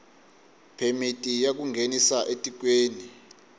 phemiti ya ku nghenisa etikweni